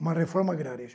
Uma reforma agrária